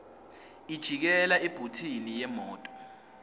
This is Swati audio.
ijikela ebhuthini yemoto